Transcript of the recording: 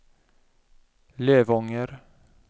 Lövånger